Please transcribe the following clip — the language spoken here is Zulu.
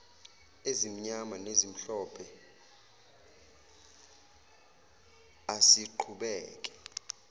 ezimnyama nezimhlophe asiqhubeke